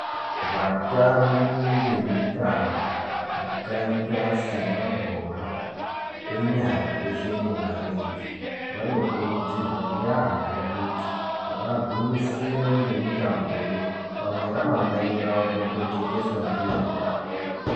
Vatambi vemitambo yakaita semabhoraa enyara eshe neemarenje vanokurudzirwa yaamhoo kuti vagwinyisire ngemitamboyo, pamwe ramangwani ravo rinotojekeswaa ndiyo mitamboyoo.